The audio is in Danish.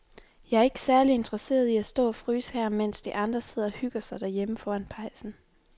Jeg er ikke særlig interesseret i at stå og fryse her, mens de andre sidder og hygger sig derhjemme foran pejsen.